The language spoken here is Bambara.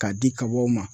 K'a di kabaw ma